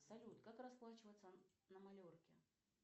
салют как расплачиваться на майорке